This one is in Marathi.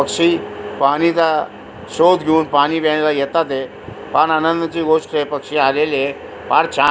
पक्षी पाणी चा शोध घेऊन पाणी प्यायला येतातय फार आंनदाची गोष्टय पक्षी आलेलीय फार छान --